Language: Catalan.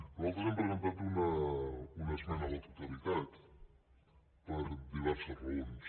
nosaltres hem presentat una esmena a la totalitat per diverses raons